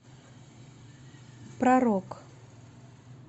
про рок